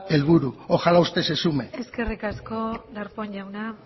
helburu ojalá usted se sume eskerrik asko darpón jauna